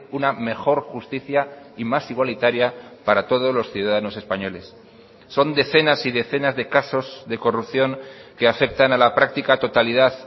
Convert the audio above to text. una mejor justicia y más igualitaria para todos los ciudadanos españoles son decenas y decenas de casos de corrupción que afectan a la práctica totalidad